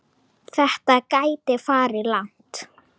Þetta gæti farið langt.